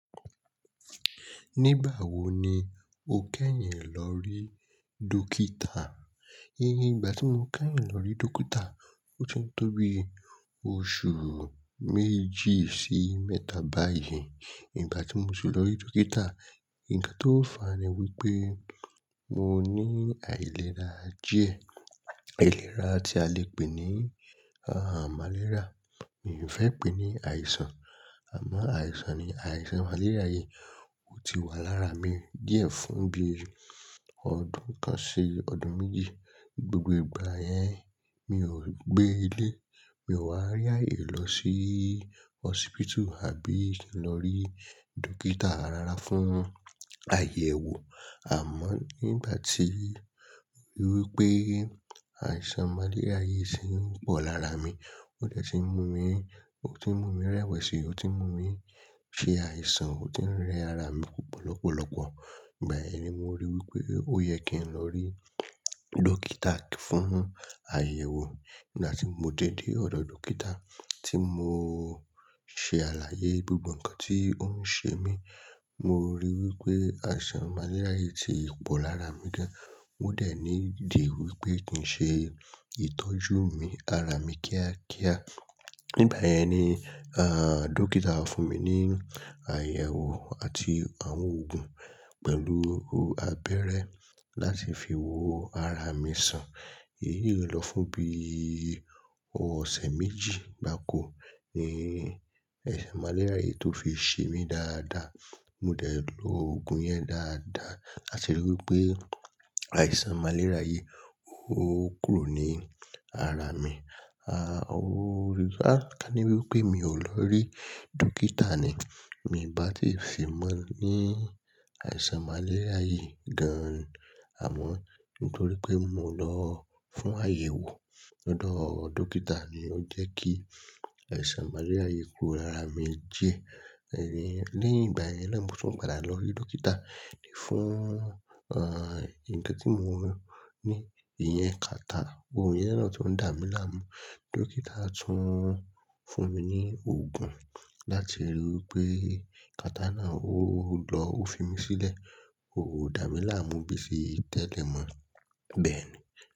Nígbà wo ni o kẹ́yìn lọ rí dókítà? Iye, ìgbà tí mo kẹ́yìn lọ rí dókítà, ó ti tóbi oṣù méjì sí mẹ́ta báyìí. Ìgbà tí mo ti lọ rí dókítà, ǹkan tó fàá ni wípé mo ní àìléra díẹ̀. Àìléra tí a lè pè ní à màlérià, mi ò fẹ́ pè ní àìsàn, àmọ́ àìsàn ni àìsàn màlérià yìí. Ó ti wà lára mi díẹ̀ fún bí i ọdún kan sí ọdún méjì. Gbogbo ìgbà yẹn mi ò gbé ilé, mi ò wá rí ààyè lọ sí hospital àbí lọ rí dókítà rara fún àyẹ̀wò. Àmọ́ nígbà tí mo rí wípé àìsàn màlérià yìí sì i pọ̀ lára mi, ó dẹ̀ ti ń mú mi, ó ti ń mú mi rẹ́wẹ̀sì, ó ti ń mú mi ṣe àìsàn, ó ti ń rẹ ara mi púpọ̀ lọ́pọ̀lọ́pọ̀, ìgbà yẹ̀n ni mo rí wípé ó yẹ kí n lọ rí dókítà fún àyẹ̀wò. Nígbà tí mo dé dé ọ̀dọ̀ dókítà tí mo ṣe àlàyé gbogbo ǹkan tí ó ń ṣe mí, mo rí wípé àìsàn màlérià yìí ti pọ̀ lára mi gan. Ó dẹ̀ ní dì wípé kì í ṣe ìtọ́jú mi ara mi kíákíá. Nígbà yẹn ni à, dókítà fún mi ní àyẹ̀wò àti àwọn òògùn pẹ̀lú abẹ́rẹ́ láti fi wo ara mi sàn. Èyí lọ fún bí i ọ̀sẹ̀ méjì gbáko ni ẹ̀ẹ̀ màlérià yìí tó fi ṣe mí dáadáa. Mo dẹ̀ lo òògùn yẹn dáadáa láti rí i wípé àìsàn màlérià yìí ó kúrò ní ara mi. À, ó rí i áa ká ní wípé mi ò lọ rí dókítà ni, mi ò bá ti fi mọ ní àìsàn màlérià yìí gan. Àmọ́ nítorí pé mo lọ fún àyẹ̀wò lọ́dọ̀ dókítà ni ó jẹ́ kí àìsàn màlérià yìí kúrò lára mi díẹ̀. Ẹ̀yin, léyìn ìgbà yẹn náà mo tún padà lọ rí dókítà fún, à, ǹkan tí mo ní ìyẹn kàtà. Ohun ìyẹn náà tó ń dà mí láàmú. Dókítà tún fún mi ní òògùn láti rí i wípé kàtà náà ó lọ ó fi mí sílẹ̀, kò dá mi láàmú bí ti tẹ́lẹ̀ mọ́ bẹ́ẹ̀ ni.